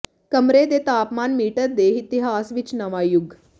ਕਮਰੇ ਦੇ ਤਾਪਮਾਨ ਮੀਟਰ ਦੇ ਇਤਿਹਾਸ ਵਿਚ ਨਵਾਂ ਯੁਗ